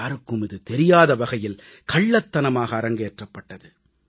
யாருக்கும் இது தெரியாத வகையில் கள்ளத்தனமாக அரங்கேற்றப்பட்டது